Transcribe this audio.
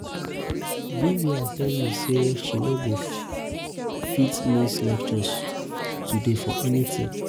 vivian tell me say she no go fit miss um lectures today for anything